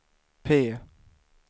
P